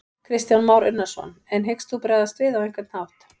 Kristján Már Unnarsson: En hyggst þú bregðast við á einhvern hátt?